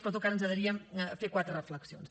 però en tot cas ens agradaria fer quatre reflexions